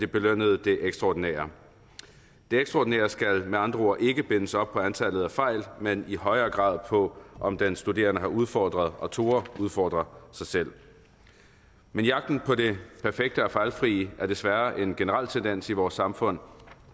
belønne det ekstraordinære det ekstraordinære skal med andre ord ikke bindes op på antallet af fejl men i højere grad på om den studerende har udfordret og har turdet udfordre sig selv men jagten på det perfekte og fejlfrie er desværre en generel tendens i vores samfund